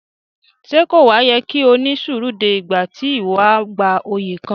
Ṣe ko wa yẹ ki o ni suru dé ìgbà ti iwọ a gbà oyè kàn?